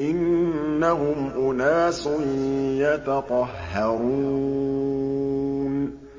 إِنَّهُمْ أُنَاسٌ يَتَطَهَّرُونَ